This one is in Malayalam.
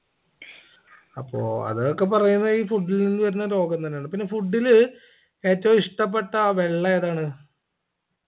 അപ്പൊ അതൊക്കെ പറയുന്നേ ഈ food ൽ നിന്ന് വരുന്ന രോഗം തന്നെ ആണ് പിന്നെ food ല് ഏറ്റവു ഇഷ്ടപ്പെട്ട വെള്ളമേതാണ്